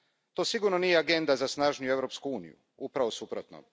To sigurno nije agenda za snažniju Europsku uniju, upravo suprotno.